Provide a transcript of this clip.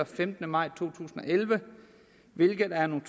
femtende maj to tusind og elleve hvilket er en